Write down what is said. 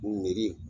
Miiri